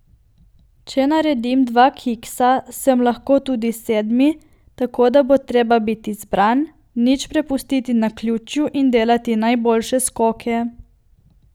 Če naredim dva kiksa, sem lahko tudi sedmi, tako da bo treba biti zbran, nič prepustiti naključju in delati najboljše skoke.